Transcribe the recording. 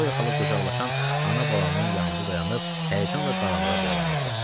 Xloya xala qucaqlaşan ana-balanın yanında dayanıb həyəcanla qaranlığa boylanırdı.